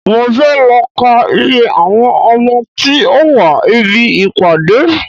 Mo fẹ́ lọ ká iye àwọn ọmọ tí ó wá ibi ìpàdé.